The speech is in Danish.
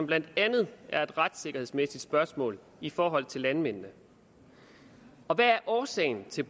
blandt andet er et retssikkerhedsmæssigt spørgsmål i forhold til landmændene hvad er årsagen til